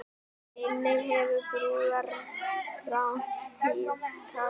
Einnig hefur brúðarrán tíðkast